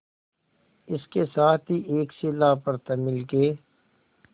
इसके साथ ही एक शिला पर तमिल के